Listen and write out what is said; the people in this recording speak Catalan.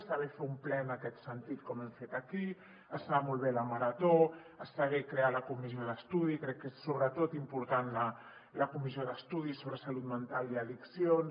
està bé fer un ple en aquest sentit com hem fet aquí està molt bé la marató està bé crear la comissió d’estudi crec que és important la comissió d’estudi de la salut mental i les addiccions